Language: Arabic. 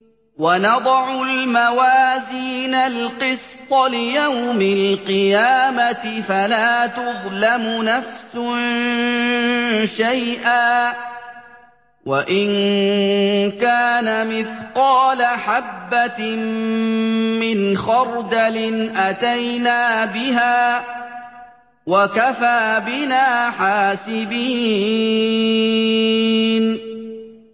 وَنَضَعُ الْمَوَازِينَ الْقِسْطَ لِيَوْمِ الْقِيَامَةِ فَلَا تُظْلَمُ نَفْسٌ شَيْئًا ۖ وَإِن كَانَ مِثْقَالَ حَبَّةٍ مِّنْ خَرْدَلٍ أَتَيْنَا بِهَا ۗ وَكَفَىٰ بِنَا حَاسِبِينَ